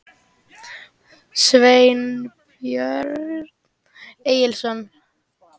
Sveinbjörn Egilsson.